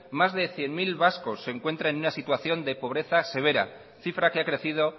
más cien mil vascos se encuentran en una situación de pobreza severa cifra que ha crecido